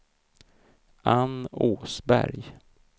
Anne Åsberg